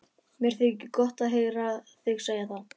Mér þykir gott að heyra þig segja það.